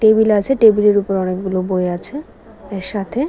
table আছে table এর উপরে অনেকগুলো বই আছে এর সাথে --